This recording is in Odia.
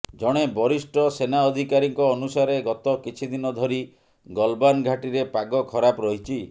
ଜଣେ ବରିଷ୍ଠ ସେନା ଅଧିକାରୀଙ୍କ ଅନୁସାରେ ଗତ କିଛି ଦିନ ଧରି ଗଲବାନ ଘାଟିରେ ପାଗ ଖରାପ ରହିଛି